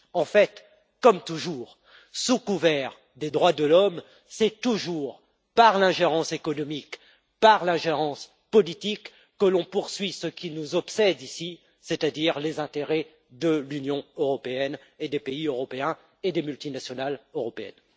En fait, comme toujours, sous couvert des droits de l'homme, c'est toujours par l'ingérence économique, par l'ingérence politique que l'on poursuit ce qui nous obsède ici, c'est à dire les intérêts de l'Union européenne, des pays européens et des multinationales européennes.